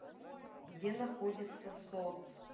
где находится соц